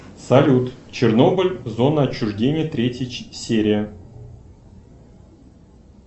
салют чернобыль зона отчуждения третья серия